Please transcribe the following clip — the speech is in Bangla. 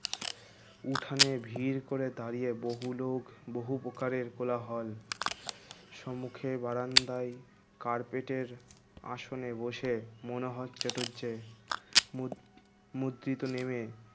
উঠোনে ভিড় করে দাঁড়িয়ে বহুলোক বহু প্রকারের কোলাহল সম্মুখে বারান্দায় কার্পেটের আসনে বসে মনোহর চাতুর্যের মত মতৃতো নেমে